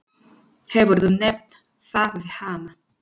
Hefurðu nefnt það við hana?